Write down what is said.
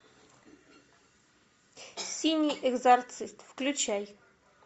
синий экзорцист включай